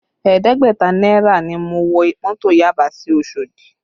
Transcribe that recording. Ẹ̀ẹ́dẹ́gbẹ̀ta náírà ni mo wọ mọ́tò Yaba sí Osodi